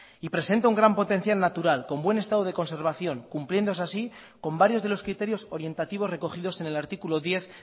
y presenta un gran potencial natural con buen estado de conservación cumpliendo así con varios de los criterios orientativos recogidos en el artículo diez